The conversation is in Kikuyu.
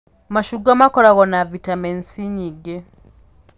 Macungwa makoragwo na bitameni C nyingĩ